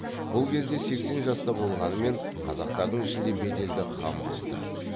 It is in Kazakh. бұл кезде сексен жаста болғанымен қазақтардың ішінде беделді хан болды